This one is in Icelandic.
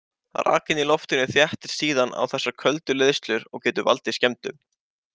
Rakinn í loftinu þéttist síðan á þessar köldu leiðslur og getur valdið skemmdum.